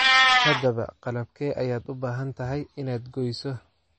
Haddaba qalabkee ayaad u baahan tahay inaad gooyso?